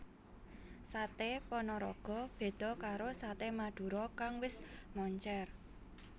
Saté Panaraga beda karo Saté Madura kang wis moncèr